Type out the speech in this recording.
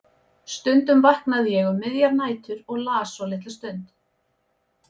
Stundum vaknaði ég um miðjar nætur og las svo litla stund.